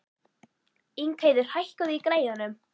Ingheiður, hækkaðu í græjunum.